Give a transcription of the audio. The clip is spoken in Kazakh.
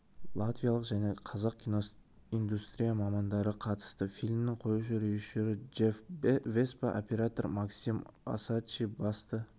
латвиялық және қазақ киноиндустрия мамандары қатысты фильмнің қоюшы режиссері джефф веспа оператор максим осадчий басты